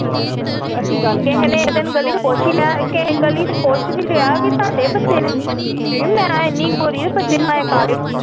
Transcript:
ਕਿਸੇ ਨੇ ਇਕ ਦਿਨ ਗਲੀ ਚ ਪੁੱਛ ਈ ਲਿਆ ਇਹ ਤੁਹਾਡੇ ਬੱਚੇ ਨੇ ਇਹ ਮਾਂ ਇੰਨੀ ਗੋਰੀ ਬੱਚੇ ਕਾਲੇ।